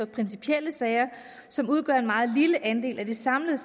for principielle sager som udgør en meget lille andel af det samlede